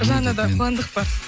жаннада қуандық бар